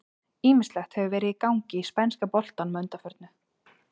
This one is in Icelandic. Ýmislegt hefur verið í gangi í spænska boltanum að undanförnu.